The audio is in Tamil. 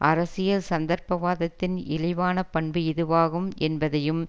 அரசியல் சந்தர்ப்பவாதத்தின் இழிவான பண்பு இதுவாகும் என்பதையும்